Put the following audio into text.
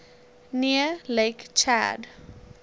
near lake chad